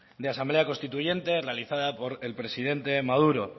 de asamblea constituyente realizada por el presidente maduro